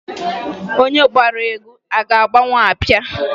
Onye gbara egwu ga-agbanwu abịa.